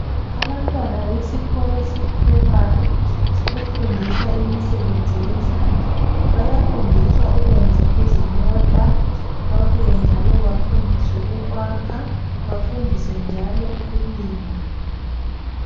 Abantwana besikolo se primary, sebefundiswa imisebenzi yezandla . Bayafundiswa ukwenza izimota, babuye njalo bafundiswe ukwaka bafundiswe njalo ukulima.